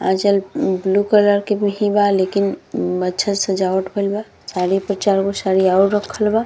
आँचल blue colour के भी हिबा लेकिन अच्छा से सजावट भइल बा साड़ी पे चारगो साड़ी और रखल बा।